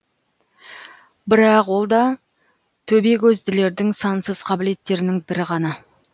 бірақ ол да төбекөзділердің сансыз қабілеттерінің бірі ғана